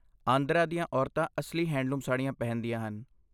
ਆਂਧਰਾ ਦੀਆਂ ਔਰਤਾਂ ਅਸਲੀ ਹੈਂਡਲੂਮ ਸਾੜੀਆਂ ਪਹਿਨਦੀਆਂ ਹਨ।